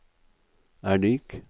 er lik